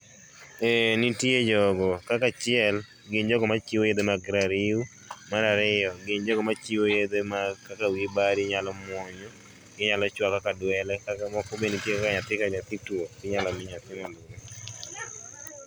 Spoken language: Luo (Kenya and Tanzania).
Eeeh, nitie jogo, kaka achiel gin jogo machiwo yedhe mag rariw, mar ariyo gin jogo machiwo yedhe mag kaka wiyi bari inyalo muonyo, inyalo chwako kaka dwele kata moko be nitie kaka nyathi ka nyathi tuo, inyalo mii nyathi mondo